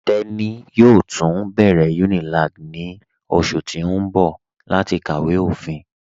Teni yóò tun bẹ̀rẹ̀ Unilag ní ọṣù tì n bọ̀ láti kàwé ofín.